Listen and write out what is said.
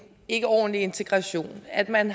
ikkeordentlig integration at man